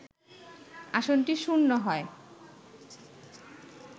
আসনটি শূন্য হয়